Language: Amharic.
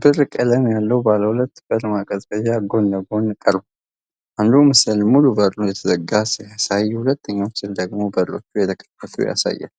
ብር ቀለም ያለው ባለ ሁለት በር ማቀዝቀዣ ጎን ለጎን ቀርቧል። አንዱ ምስል ሙሉ በሩ የተዘጋውን ሲያሳይ፣ ሁለተኛው ምስል ደግሞ በሮቹ የተከፈቱትን ያሳያል።